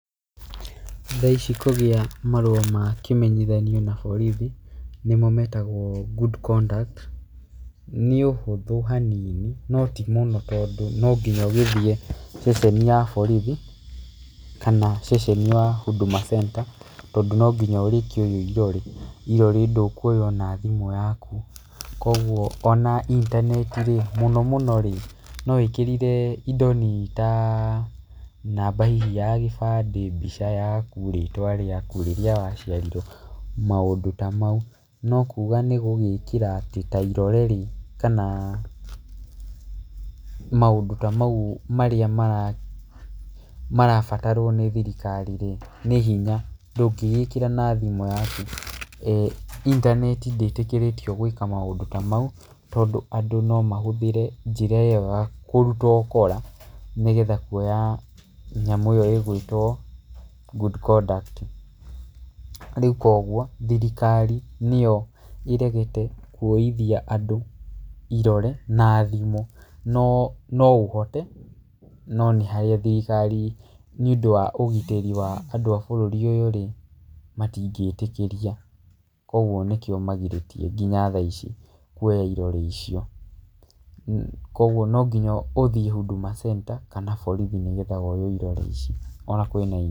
Thaici kũgĩa marũa ma kĩmenyithanio na borithi nĩmo metagwo good conduct nĩũhũthũ hanini notimũno tondũ nonginya ũgĩthiĩ ceceni ya borithi kana ceceni ya Huduma Centre. Tondũ nonginya ũrĩkĩoyũo irore, irore ndũkũoyũo na thimũ yakũ, kũoguo ona internet, mũnomũnorĩ, nowĩkĩrire indo nini ta, namba hih ya gĩbandĩ, mbica nini, rĩĩtwa rĩakũ, rĩrĩa ĩaciarirwo. Maũndũ ta maũ, nokũga nĩgũgĩkĩra ta irorerĩ kana maũndũ ta maũ marĩa maraa marabatarwo nĩ thirikarirĩ, nĩ hinya. Ndũngĩgĩkĩra na thimũ yakũ. um internet ndĩĩtĩkĩrĩtio gwĩka maũndũ ta maũ tondũ andũ nomahũthĩre njĩra ĩyo ya kũrũta ũkora nĩgetha kũoya nyamũ ĩyo ĩgĩtwo good conduct. Rĩc kũogũo thirikari, nĩyo ĩregete kũoithia nadũ irore na thimũ, noo noũhote , no nĩ harĩa thirikari nĩũndũ ĩa ũgitĩri wa andũ a bũrũri ũyũrĩ, matingĩtĩkĩria. Kũogũo nĩkĩo magirĩtie nginya thaici kũoya irore icio, kũoguo nonginya ũthiĩ Huduma Centre kana borithi nĩgetha woyũo irore icio ona